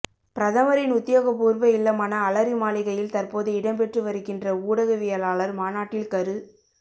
பிரதமரின் உத்தியோகபூர்வ இல்லமான அலரிமாளிகையில் தற்போது இடம்பெற்றுவருகின்ற ஊடகவியலாளர் மாநாட்டில் கரு